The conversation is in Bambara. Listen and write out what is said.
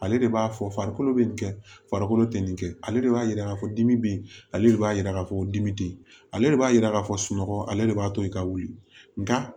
Ale de b'a fɔ farikolo be nin kɛ farikolo te nin kɛ ale de b'a yira k'a fɔ dimi be yen ale de b'a yira k'a fɔ ko dimi te yen ale de b'a yira k'a fɔ sunɔgɔ ale de b'a to i ka wuli nka